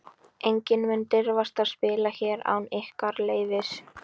Enginn mun dirfast að spila hér án ykkar leyfis.